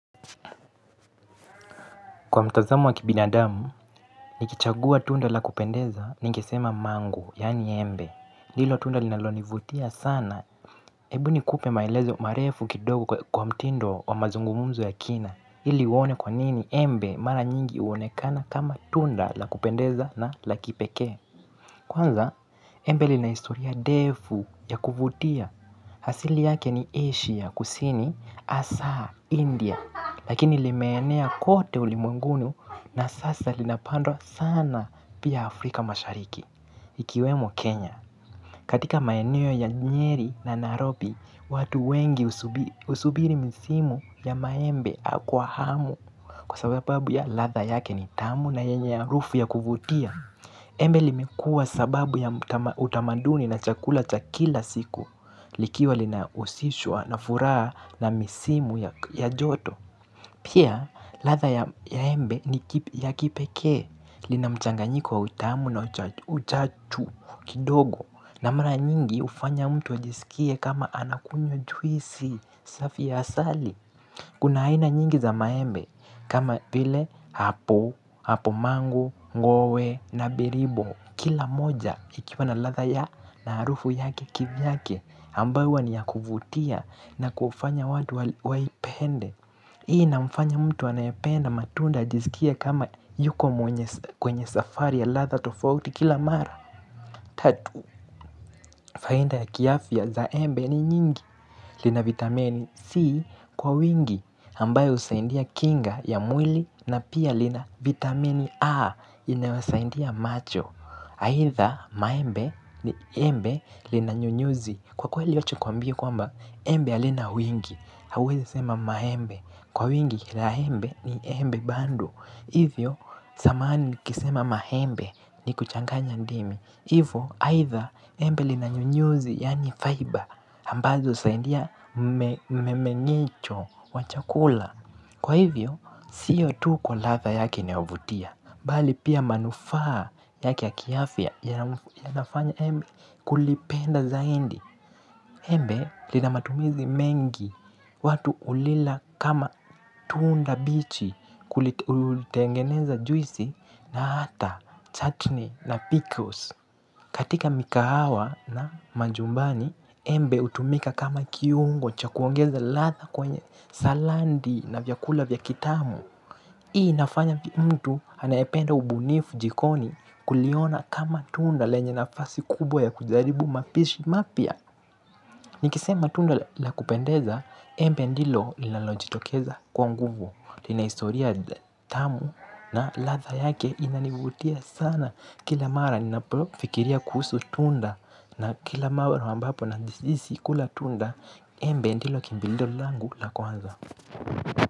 Kwa mtazamo wa kibinadamu, nikichagua tunda la kupendeza ningesema mango, yani embe. Lilo tunda linalonivutia sana, ebu ni kupe maelezo marefu kidogo kwa mtindo wa mazungumzo ya kina. Ili uone kwa nini embe mara nyingi huonekana kama tunda la kupendeza na la kipeke. Kwanza, embe lina historia ndefu ya kuvutia. Hasili yake ni Asia kusini, Asa, India, lakini limeenea kote ulimwengunu na sasa linapandwa sana pia Afrika mashariki. Ikiwemo Kenya, katika maeno ya nyeri na narobi, watu wengi husubiri msimu ya maembe akwa hamu kwa sababu ya ladha yake ni tamu na yenye harufu ya kuvutia. Embe limekua sababu ya utamaduni na chakula cha kila siku likiwa linahusishwa na furaa na misimu ya joto. Pia, ladha ya embe ni ya kipeke. Linamchanganyiko wa utamu na uchachu kidogo na mara nyingi ufanya mtu ajisikie kama anakunywa juisi safi ya asali. Kuna aina nyingi za maembe kama vile hapo, hapo mango, ngoe na biribo. Kila moja ikiwa na ladha ya na harufu yake kivyake ambayo huwa ni ya kuvutia na kufanya watu waipende. Hii ina mfanya mtu anayependa matunda ajiskie kama yuko mwenye kwenye safari ya ladha tofauti kila mara. Tatu, faidha ya kiafya za embe ni nyingi. Lina vitamini C kwa wingi ambayo husaidia kinga ya mwili na pia lina vitamini A inayosaidia macho. Aidha maembe ni embe lina nyunyuzi. Kwa kweli wacha ni kwambie kwamba embe halina wingi, hauwezi sema maembe. Kwa wingi la embe ni embe bandu. Hivyo sahamani kisema maembe ni kuchanganya ndimi. Hivo, either embe linanyunyuzi yani fiber, ambazo usaindia memenicho wa chakula. Kwa hivyo, siyo tu kwa ladha yake inayovutia. Bali pia manufaa yake ya kiafya yanafanya embe kulipenda zaindi. Embe linamatumizi mengi watu ulila kama tunda bichi kulitengeneza juisi na hata chutney na pickles. Katika mikahawa na majumbani, embe utumika kama kiungo cha kuongeza latha kwenye salandi na vyakula vya kitamu. Hii nafanya mtu anaependa ubunifu jikoni kuliona kama tunda lenye nafasi kubwa ya kujaribu mapishi mapya. Nikisema tunda la kupendeza, embe ndilo linalojitokeza kwa nguvu. Ina historia tamu na latha yake inanivutia sana kila mara ninafikiria kuhusu tunda na kila mara ambapo najiisi kula tunda embe ndilo kimbilio langu la kwanza.